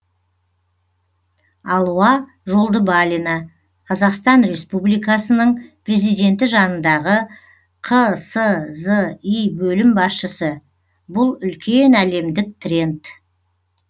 алуа жолдыбалина қазақстан республикасының президенті жанындағы қсзи бөлім басшысы бұл үлкен әлемдік тренд